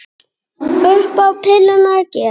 Upp á pilluna að gera.